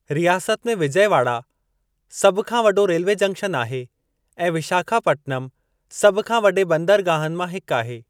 रियासत में विजयवाड़ा में सभु खां वॾो रेल्वे जंक्शन आहे ऐं विशाखापटनम सभु खां वॾे बंदरगाहनि मां हिकु आहे।